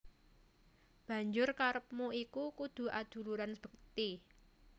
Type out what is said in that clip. Banjur karepmu iku kudu aduluran bekti